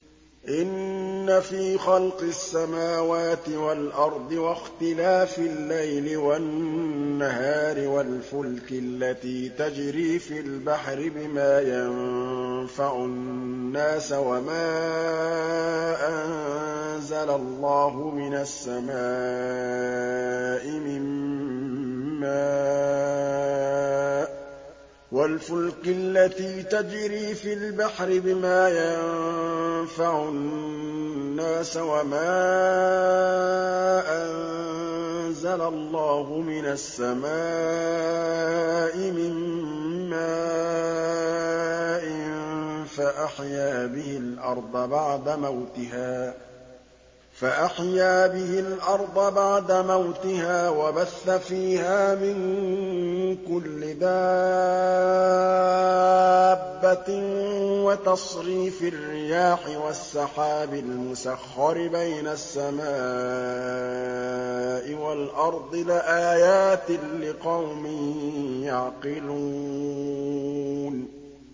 إِنَّ فِي خَلْقِ السَّمَاوَاتِ وَالْأَرْضِ وَاخْتِلَافِ اللَّيْلِ وَالنَّهَارِ وَالْفُلْكِ الَّتِي تَجْرِي فِي الْبَحْرِ بِمَا يَنفَعُ النَّاسَ وَمَا أَنزَلَ اللَّهُ مِنَ السَّمَاءِ مِن مَّاءٍ فَأَحْيَا بِهِ الْأَرْضَ بَعْدَ مَوْتِهَا وَبَثَّ فِيهَا مِن كُلِّ دَابَّةٍ وَتَصْرِيفِ الرِّيَاحِ وَالسَّحَابِ الْمُسَخَّرِ بَيْنَ السَّمَاءِ وَالْأَرْضِ لَآيَاتٍ لِّقَوْمٍ يَعْقِلُونَ